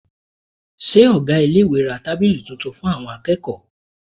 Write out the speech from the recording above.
Ṣé ọ̀gá iléèwé ra tábìlì tuntun fún àwọn akẹ́kọ̀ọ́?